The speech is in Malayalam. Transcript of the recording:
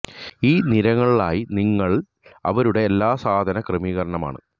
ഈ നിരളായി നിങ്ങൾ ൽ അവരുടെ എല്ലാ സാധന ക്രമീകരണമാണ്